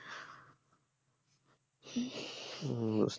উম বুঝতে